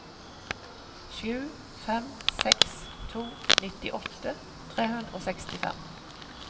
sju fem seks to nittiåtte tre hundre og sekstifem